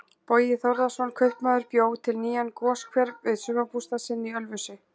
Bogi Þórðarson kaupmaður bjó til nýjan goshver við sumarbústað sinn í Ölfusi.